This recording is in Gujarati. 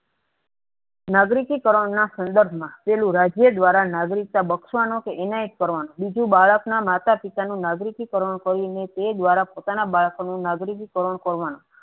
નાગરિકી કારણ ના સંદર્ભમાં જે દ્વારા નાગરિકતા બક્ષવાનો ઇનાયત કરવાનો બીજું બાળકના માતાપિતા નું નાગરિકી કારણો કરીને તે દવારા પોતાના બાળક નું નાગરિકી કરવાનું